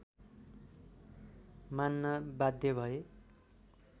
मान्न बाध्य भए